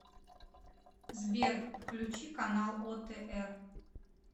сбер включи канал отр